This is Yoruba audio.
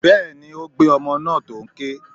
Bẹ́ẹ̀ni, ó gbé ọmọ náà tó n ké.